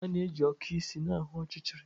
A na-eji okụ isi na-ahụ n'ọchịchịrị.